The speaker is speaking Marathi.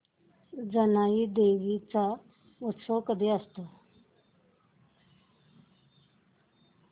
जानाई देवी चा उत्सव कधी असतो